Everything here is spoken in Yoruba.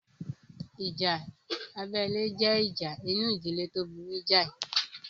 Ìjà abẹ́lé jẹ́ ìjà inú ìdílé tó burú jáì